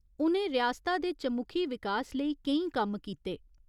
उ'नें रियासता दे चमुखी विकास लेई केईं कम्म कीते।